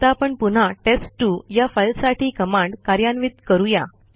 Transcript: आता आपण पुन्हा टेस्ट2 या फाईलसाठी कमांड कार्यान्वित करूया